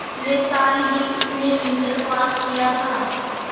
पिछले साल ही उसने इंटर पास किया था